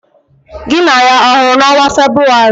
Gị na ya ọ hụrụ n'ọnwa Febụwarị?